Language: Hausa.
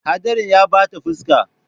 Hadarin ya bata fuska.